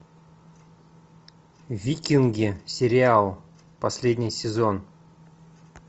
викинги сериал последний сезон